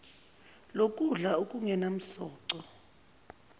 lokudla okungenam soco